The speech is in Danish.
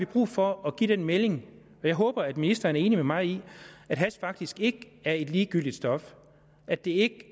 brug for at give den melding og jeg håber at ministeren er enig med mig i at hash faktisk ikke er et ligegyldigt stof at det ikke